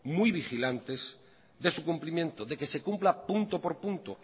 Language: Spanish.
muy vigilantes de su cumplimiento de que se cumpla punto por punto